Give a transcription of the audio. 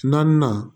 Naaninan